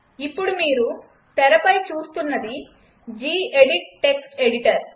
ఇప్పుడు మీరు తెరపై చూస్తున్నది జీ ఎడిట్ టెక్స్ట్ ఎడిటర్